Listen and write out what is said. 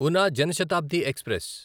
Oona Jan Shatabdi express